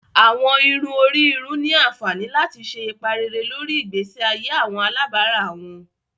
Awọn irun ori irun ni anfani lati ṣe ipa rere lori igbesi aye awọn alabara wọn.